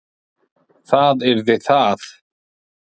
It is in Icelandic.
Það yrði það.